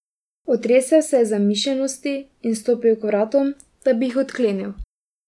Otresel se je zamišljenosti in stopil k vratom, da bi jih odklenil.